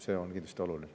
See on kindlasti oluline.